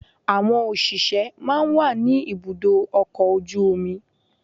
Àwọn òṣìṣẹ́ máa ń wà ní ibùdó ọkọ̀ ojú omi.